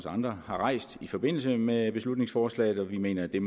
andre har rejst i forbindelse med beslutningsforslaget og vi mener at det